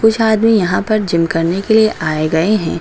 कुछ आदमी यहां पर जिम करने के लिए आए गए हैं।